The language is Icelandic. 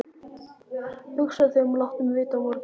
Hugsaðu þig um og láttu mig vita á morgun.